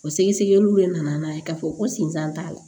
O sɛgɛsɛgɛliw de nana n'a ye k'a fɔ ko sinzan t'a la